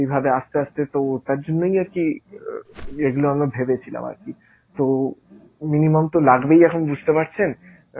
এই ভাবে আস্তে আস্তে তো ওটার জন্যই আরকি এইগুলো আমরা ভেবেছিলাম আরকি। তো minimum তো লাগবেই এখন বুঝতে পারছেন